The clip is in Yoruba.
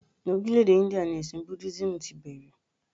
Orílẹ̀ èdè Íńdíà ni ẹ̀sìn Búdísíìmù ti bẹ̀rẹ̀.